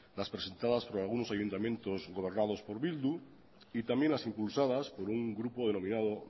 las presentadas por algunos ayuntamientos gobernados por bildu y también las impulsadas por un grupo denominada